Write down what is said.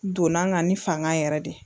Donna n kan ni fanga yɛrɛ de ye